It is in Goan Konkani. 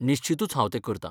निश्चीतूच हांव तें करतां.